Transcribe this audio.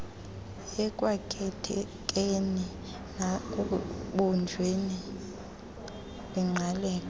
ekwakhekeni nasekubunjweni kwingqaleko